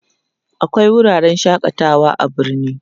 akwai wuraren shakatawa a birni